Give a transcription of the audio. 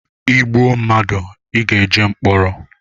Ị gbụọ madụ ị ga-eje mkpọrọ